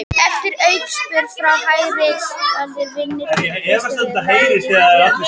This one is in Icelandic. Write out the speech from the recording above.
Eftir aukaspyrnu frá hægri skallaði Vignir Benediktsson boltann laglega í slánna og inn.